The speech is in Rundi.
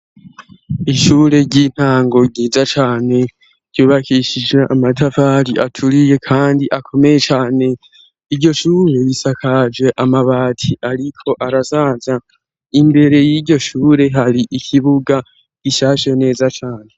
ishure ry'intango ryiza cane ryubakishije amatafari aturiye kandi akomeye cane iryoshure isakaje amabati ariko arasaza imbere y'iryo shure hari ikibuga gishashe neza cane